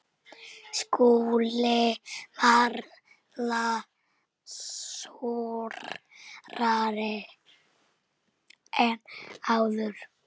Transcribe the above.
SKÚLI: Varla súrari en áður.